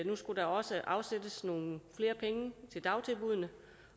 nu skulle der også afsættes nogle flere penge til dagtilbuddene